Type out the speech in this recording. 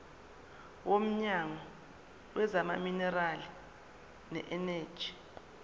womnyango wezamaminerali neeneji